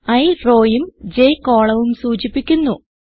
i rowയും j columnവും സൂചിപ്പിക്കുന്നു